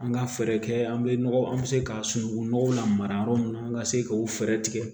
An ka fɛɛrɛ kɛ an bɛ nɔgɔ an bɛ se k'a sunungun nɔgɔ la mara yɔrɔ min na an ka se k'o fɛɛrɛ tigɛ